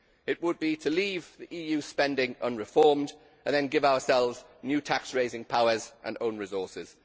It would be to leave the EU spending unreformed and then give ourselves new tax raising powers and own resources.